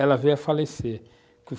ela veio a falecer.